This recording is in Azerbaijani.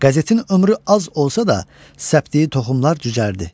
Qəzetin ömrü az olsa da, səpdiyi toxumlar cücərdi.